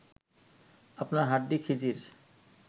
আপনার হাড্ডি খিজির